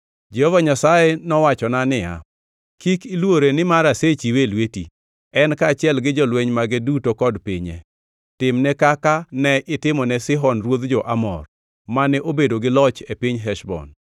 Jehova Nyasaye nowachona niya, “Kik iluore nimar asechiwe e lweti, en kaachiel gi jolweny mage duto kod pinye. Timne kaka ne itimone Sihon ruodh jo-Amor, mane obedo gi loch e piny Heshbon.”